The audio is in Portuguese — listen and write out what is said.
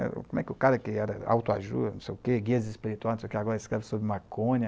Como é que o cara que era autoajuda, não sei o quê, guia espiritual, não sei o quê, agora escreve sobre maconha.